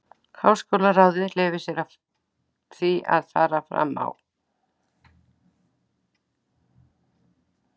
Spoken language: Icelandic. Háskólaráðið leyfir sér því að fara fram á